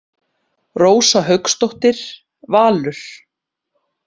Rósa Hauksdóttir, Valur.